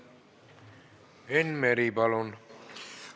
Enn Meri, palun!